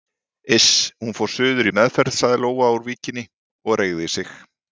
Iss, hún fór suður í meðferð sagði Lóa úr Víkinni og reigði sig.